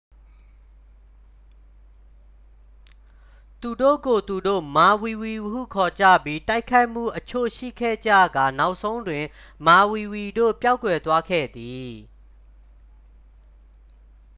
သူတို့ကိုယ် သူတို့ မာဝီဝီဟု ခေါ်ကြပြီး တိုက်ခိုက်မှုအချို့ရှိခဲ့ကြကာ နောက်ဆုံးတွင် မာဝီဝီတို့ ပျောက်ကွယ်သွားခဲ့သည်